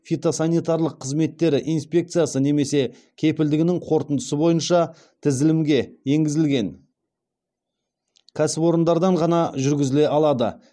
фитосанитарлық қызметтері инспекциясы немесе кепілдігінің қорытындысы бойынша тізілімге енгізілген кәсіпорындардан ғана жүргізіле алады